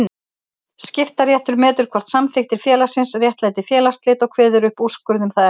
Skiptaréttur metur hvort samþykktir félagsins réttlæti félagsslit og kveður upp úrskurð um það efni.